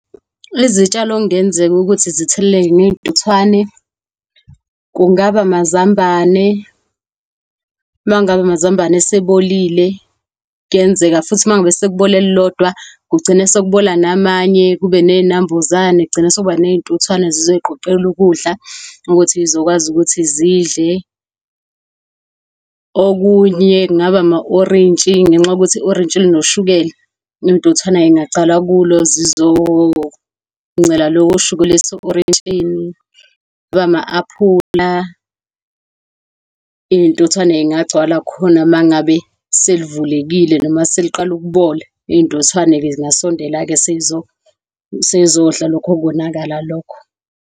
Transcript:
Izitshalo okungenzeka ukuthi zitheleleke ngezintuthwane kungaba amazambane. Mangabe amazambane esebolile, kuyenzeka futhi mangabe sekubole elilodwa kugcine sekubola namanye, kube ney'nambuzane, kugcina sekuba ney'ntuthwane, zizoziqoqeka ukudla ukuthi zizokwazi ukuthi zidle. Okunye, kungaba ama-orintshi, ngenxa yokuthi i-orintshi inoshukela iy'ntuthwana zingaqala kulo zizoba ngincela lowo shukela ose-orentshini, noma ama-aphula, iy'ntuthwane zingagcwala khona mangabe selivulekile, noma seliqala ukubola. Iy'ntuthwane-ke zingasondela sezizodla lokho kubonakala lokho.